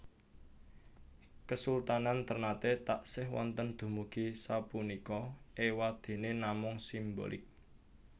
Kesultanan Ternate taksih wonten dumugi sapunika ewadene namung simbolik